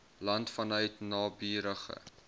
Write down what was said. land vanuit naburige